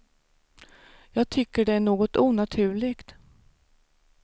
Jag tycker det är något onaturligt.